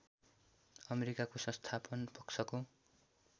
अमेरिकाको संस्थापन पक्षको